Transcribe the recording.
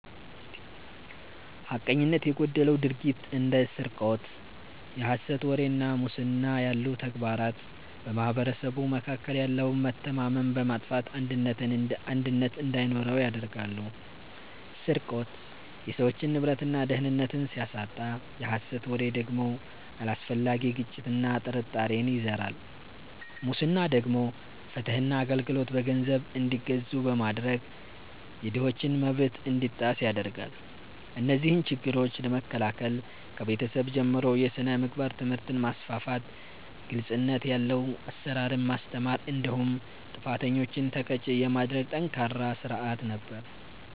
ሐቀኝነት የጎደለው ድርጊት እንደ ስርቆት፣ የሐሰት ወሬ እና ሙስና ያሉ ተግባራት በማኅበረሰቡ መካከል ያለውን መተማመን በማጥፋት አንድነትን እንዳይኖር ያደርጋሉ። ስርቆት የሰዎችን ንብረትና ደህንነት ሲያሳጣ፣ የሐሰት ወሬ ደግሞ አላስፈላጊ ግጭትና ጥርጣሬን ይዘራል። ሙስና ደግሞ ፍትህና አገልግሎት በገንዘብ እንዲገዙ በማድረግ የድሆችን መብት እንዲጣስ ያደርጋል። እነዚህን ችግሮች ለመከላከል ከቤተሰብ ጀምሮ የሥነ ምግባር ትምህርትን ማስፋፋት፤ ግልጽነት ያለው አሰራርን ማስተማር እንዲሁም ጥፋተኞችን ተቀጪ የሚያደርግ ጠንካራ ሥርዓት ነበር።